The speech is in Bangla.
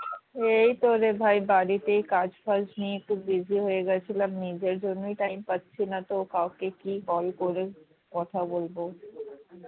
এই তো রে ভাই বাড়িতেই কাজ ফাজ নিয়ে একটু busy হয়ে গেছিলাম নিজের জন্যই time পাচ্ছিনা তো কাউকে কি কল করে কথা বলবো